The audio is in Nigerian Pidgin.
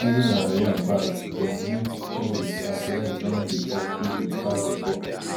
even our yam barns dem need changes as rain don dey fall heavy pass before